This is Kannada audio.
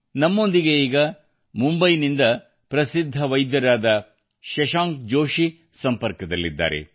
ನಮ್ಮೊಂದಿಗೆ ಈಗ ಮುಂಬೈಯಿಂದ ಪ್ರಸಿದ್ಧ ವೈದ್ಯರಾದ ಶಶಾಂಕ್ ಜೋಷಿ ಸಂಪರ್ಕದಲ್ಲಿದ್ದಾರೆ